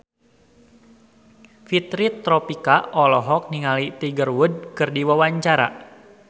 Fitri Tropika olohok ningali Tiger Wood keur diwawancara